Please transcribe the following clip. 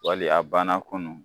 Wali a banna kunu.